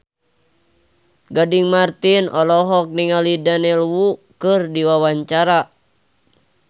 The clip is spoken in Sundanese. Gading Marten olohok ningali Daniel Wu keur diwawancara